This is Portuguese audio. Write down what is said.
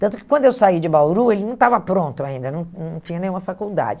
Tanto que quando eu saí de Bauru, ele não estava pronto ainda, não não tinha nenhuma faculdade.